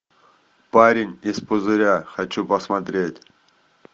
парень из пузыря хочу посмотреть